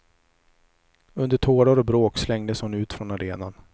Under tårar och bråk slängdes hon ut från arenan.